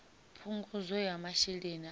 phungudzo ya masheleni a u